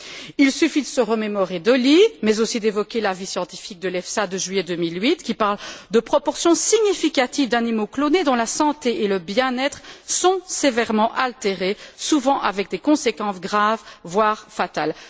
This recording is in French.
Il suffit de se remémorer Dolly mais aussi d'évoquer l'avis scientifique de l'EFSA de juillet 2008, qui parle d'une proportion significative d'animaux clonés dont la santé et le bien être sont sévèrement altérés, souvent avec des conséquences graves, voire fatales.